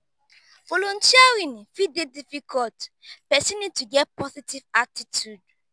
volunteering fit dey difficult person need to get positive attitude